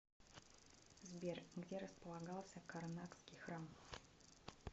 сбер где располагался карнакский храм